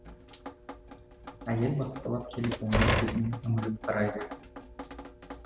әйел баспалап келіп оның жүзіне үңіліп қарайды